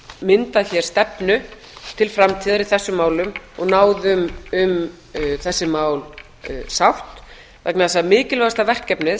myndað hér stefnu til framtíðar í þessum málum og náð um þessi mál sátt vegna þess að mikilvægasta verkefnið